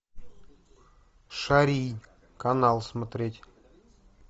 шарий канал смотреть